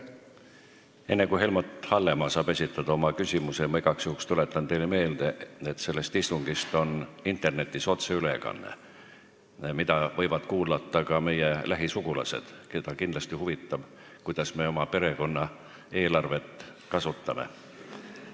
Enne kui Helmut Hallemaa saab esitada oma küsimuse, ma tuletan teile igaks juhuks meelde, et sellest istungist on internetis otseülekanne, mida võivad kuulata ka meie lähisugulased, keda kindlasti huvitab, kuidas me oma perekonna raha kasutame.